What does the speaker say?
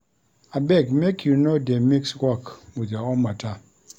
Abeg make you no dey mix work wit your own mata.